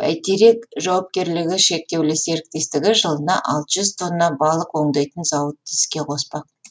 бәйтерек жауапкерлігі шектеулі серіктестігіне жылына алты жүз тонна балық өңдейтін зауытты іске қоспақ